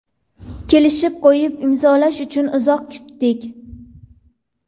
Kelishib qo‘yib, imzolash uchun uzoq kutdik.